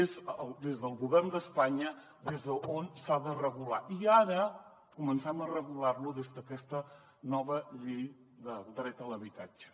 és des del govern d’espanya des d’on s’ha de regular i ara comencem a regular ho des d’aquesta nova llei del dret a l’habitatge